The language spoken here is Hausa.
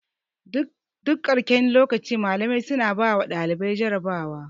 Duk karshen lokaci malamai suna bawa ɗalibai jarabawa.